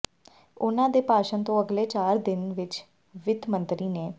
ਉਨ੍ਹਾਂ ਦੇ ਭਾਸ਼ਣ ਤੋਂ ਅਗਲੇ ਚਾਰ ਦਿਨਾਂ ਵਿਚ ਵਿੱਤ ਮੰਤਰੀ ਨਿ